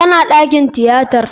Tana dakin tiyatar.